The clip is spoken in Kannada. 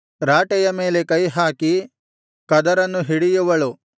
ರಾಟೆಯ ಮೇಲೆ ಕೈ ಹಾಕಿ ಕದರನ್ನು ಹಿಡಿಯುವಳು